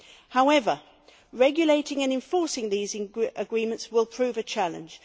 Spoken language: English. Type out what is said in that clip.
However, regulating and enforcing these agreements will prove a challenge.